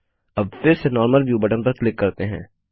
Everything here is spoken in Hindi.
अब फिर से नॉर्मल व्यू बटन पर क्लिक करते हैं